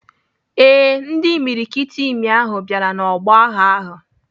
Ee, ndị imiriikiti imi ahụ bịara n'ọgbọ agha ahụ.